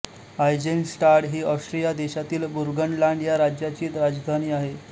Eisenstadt ही Austria देशातील Burgenland ह्या राज्याची राजधानी आहे